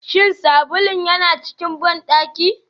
Shin sabulun yana cikin bandaki?